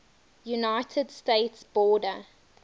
united states border